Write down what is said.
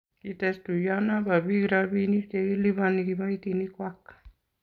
kites tuyionoe bo biik robinik che kiliboni kiboitinikwak